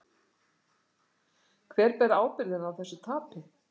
Hver ber ábyrgðina á þessu tapi?